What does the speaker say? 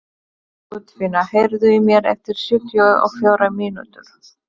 Guðfinna, heyrðu í mér eftir sjötíu og fjórar mínútur.